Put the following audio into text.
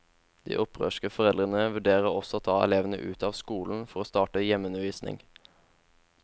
De opprørske foreldrene vurderer også å ta elevene ut av skolen for å starte hjemmeundervisning.